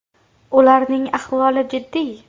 Ularning ahvoli jiddiy.